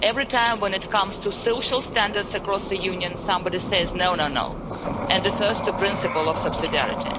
every time, when it comes to social standards across the Union, somebody says No, no no', and refers to the principle of subsidiarity.